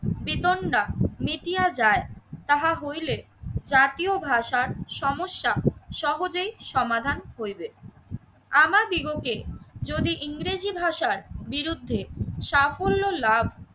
দিতন্ডা, মেটিয়া যায় তাহা হইলে জাতীয় ভাষার সমস্যা সহজেই সমাধান হইবে। আমাদিগকে যদি ইংরেজি ভাষার বিরুদ্ধে সাফল্য লাভ